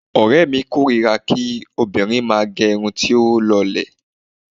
Ọ̀rẹ́mi kórira kí obìnrin máà gẹ irun tí ó lọlẹ̀.